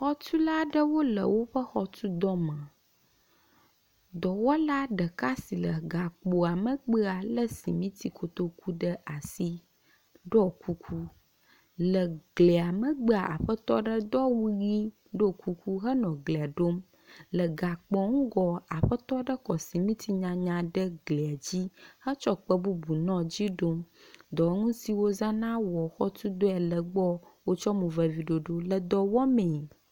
Xɔtula aɖewo le woƒe xɔ tu dɔme. Dɔwɔla ɖeka si le gakpoa megbea lé simiti kotoku ɖe asi, ɖɔ kuku. Le glia megbea, aƒetɔ aɖe do awu ʋi, ɖo kuku henɔ eglia ɖom. Le gakpoa ŋgɔ, aƒetɔ aɖe kɔ simiti nyanya ɖe glia dzi hetsɔ kpe bubu nɔ dzi ɖom. Dɔwɔnu siwo wozãna wɔ xɔ tu dɔe le gbɔ. Wotsɔ mo vevi ɖoɖo le dɔ wɔmee.